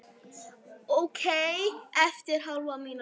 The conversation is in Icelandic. Ókei eftir hálfa mínútu.